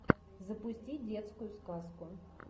запусти детскую сказку